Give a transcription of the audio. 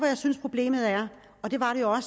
jeg synes problemet er og det var det jo